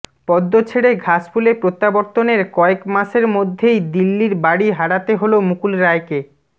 পদ্ম ছেড়ে ঘাসফুলে প্রত্যাবর্তনের কয়েক মাসের মধ্যেই দিল্লির বাড়ি হারাতে হল মুকুল রায়কে